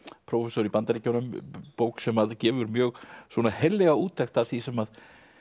prófessor í Bandaríkjunum bók sem gefur mjög heillega úttekt af því sem